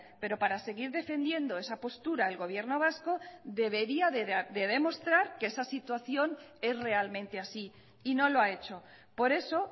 pero para seguir defendiendo esa postura el gobierno vasco debería de demostrar que esa situación es realmente así y no lo ha hecho por eso